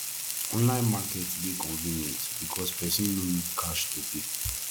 online market de convenient because persin no need cash to pay